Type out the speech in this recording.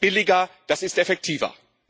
Das ist billiger, das ist effektiver.